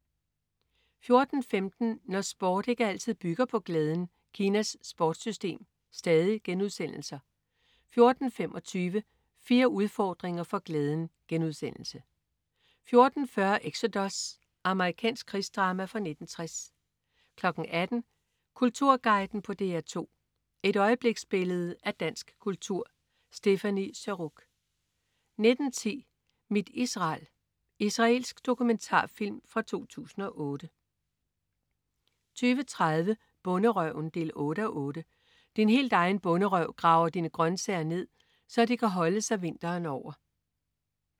14.15 Når sport ikke altid bygger på glæden. Kinas sportssystem* 14.25 Fire udfordringer for glæden* 14.40 Exodus. Amerikansk krigsdrama fra 1960 18.00 Kulturguiden på DR2. Et øjebliksbillede af dansk kultur. Stéphanie Surrugue 19.10 Mit Israel. Israelsk dokumentarfilm fra 2008 20.30 Bonderøven 8:8. Din helt egen bonderøv graver sine grøntsager ned, så de kan holde sig vinteren over